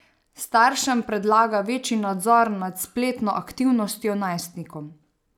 Staršem predlaga večji nadzor nad spletno aktivnostjo najstnikom.